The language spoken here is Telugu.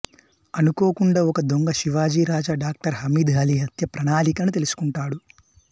అనుకోకుండా ఒక దొంగ శివాజీ రాజా డాక్టర్ హమీద్ అలీ హత్య ప్రణాళికలను తెలుసుకుంటాడు